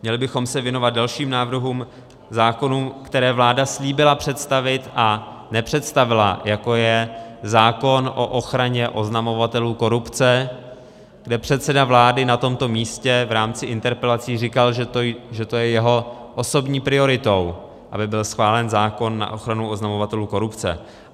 Měli bychom se věnovat dalším návrhům zákonů, které vláda slíbila představit, a nepředstavila, jako je zákon o ochraně oznamovatelů korupce, kde předseda vlády na tomto místě v rámci interpelací říkal, že to je jeho osobní prioritou, aby byl schválen zákon na ochranu oznamovatelů korupce.